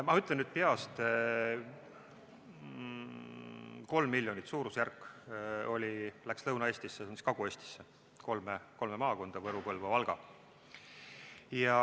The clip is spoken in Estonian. Ma ütlen nüüd peast, aga vist oli suurusjärk kolm miljonit, mis läks läks Lõuna-Eestisse, sh Kagu-Eestisse, kolme maakonda: Võru, Põlva ja Valga.